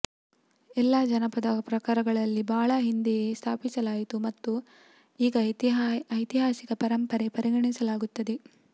ಎಲ್ಲಾ ಜಾನಪದ ಪ್ರಕಾರಗಳಲ್ಲಿ ಬಹಳ ಹಿಂದೆಯೇ ಸ್ಥಾಪಿಸಲಾಯಿತು ಮತ್ತು ಈಗ ಐತಿಹಾಸಿಕ ಪರಂಪರೆ ಪರಿಗಣಿಸಲಾಗುತ್ತದೆ